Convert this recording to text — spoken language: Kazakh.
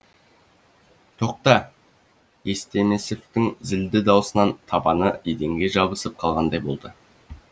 тоқта естемесовтің зілді даусынан табаны еденге жабысып қалғандай болды